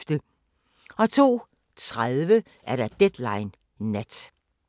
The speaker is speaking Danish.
02:30: Deadline Nat